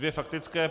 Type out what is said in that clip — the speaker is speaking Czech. Dvě faktické.